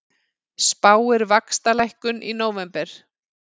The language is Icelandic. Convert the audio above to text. Spáir vaxtalækkun í nóvember